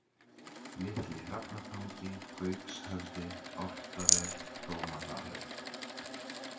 Litli-Hrafnatangi, Gaukshöfði, Álftaver, Dómadalur